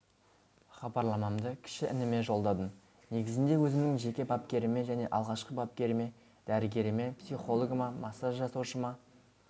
хабарламамды кіші ініме жолдадым негізінде өзімнің жеке бапкеріме және алғашқы бапкеріме дәрігеріме психологыма массаж жасаушыма